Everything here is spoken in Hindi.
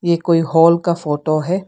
ये कोई हॉल का फोटो है।